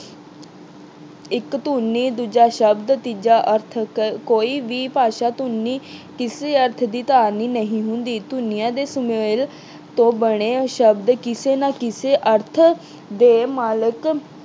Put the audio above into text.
ਇੱਕ ਧੁਨੀ, ਦੂਜਾ ਸ਼ਬਦ ਤੀਜਾ ਅਰਥ। ਕੋਈ ਵੀ ਭਾਸ਼ਾ ਧੁਨੀ ਕਿਸੇ ਅਰਥ ਦੀ ਧਾਰਨੀ ਨਹੀਂ ਹੁੰਦੀ। ਧੁਨੀਆਂ ਦੇ ਸੁਮੇਲ ਤੋਂ ਬਣੇ ਸ਼ਬਦ ਕਿਸੇ ਨਾ ਕਿਸੇ ਅਰਥ ਦੇ ਮਾਲਕ